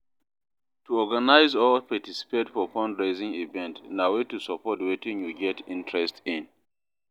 To organize or participate for fundraising event na way to support wetin you get interest in